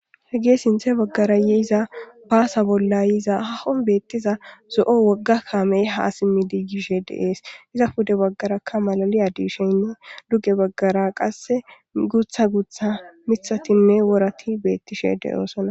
He gee sinthe baggara yeiza baasa bollayiza hahon beettiza zo'o wogga kaamey haa simmi diigishe deees iza pude baggarakka malali adisheynne duge baggara qasse gutha gutha mithatinne worati beettishe deyoosona.